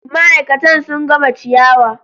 Ma'aikatan sun gama ciyawa.